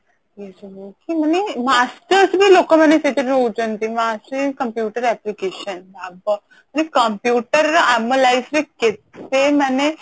ଏସବୁ କି ମାନେ masters ବି ଲୋକମାନେ ସେଇଥିରେ ରହୁଛନ୍ତି master in computer applications ବାବା computer ର ଆମ life ରେ କେତେ ମାନେ